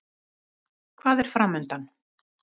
Hvað er framundan?